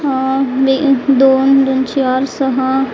आह बे दोन दोन चार सह--